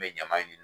N bɛ ɲama in de